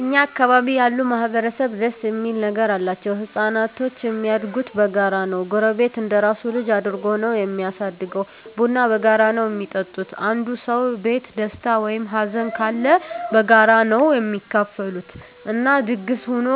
እኛ አካባቢ ያሉ ማህበረሰብ ደስ እሚል ነገር አላቸዉ። ህፃናቶች እሚያድጉት በጋራ ነዉ ጎረቤት እንደራሱ ልጅ አድርጎ ነዉ እሚያሳድገዉ፣ ቡና በጋራ ነዉ እሚጠጡት፣ አንዱ ሰዉ ቤት ደስታ ወይም ሀዘንም ካለ በጋራ ነዉ እሚካፈሉት እና ድግስ ሁኖ